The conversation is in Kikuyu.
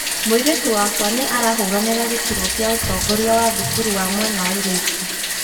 Mũirĩtu wakwa nĩ arahũranĩra gĩturwa kĩa ũtongoria wa thukuru wa mwena wa airitu